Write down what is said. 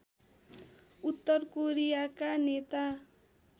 उत्तर कोरियाका नेता